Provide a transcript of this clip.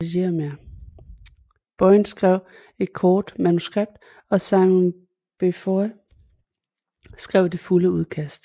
Boyle skrev et kort manuskript og Simon Beaufoy skrev det fulde udkast